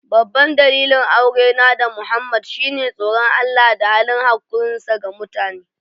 Babban dalilin aurena da Muhammad shine tsoron Allah da halin hakurinsa ga mutane.